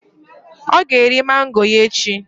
Ọ ga-eri mango ya echi.